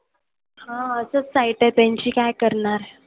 हां असंच site आहे त्यांची काय करणार.